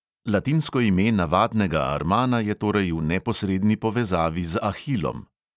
Latinsko ime navadnega armana je torej v neposredni povezavi z ahilom.